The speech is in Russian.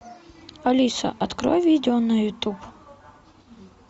алиса открой видео на ютуб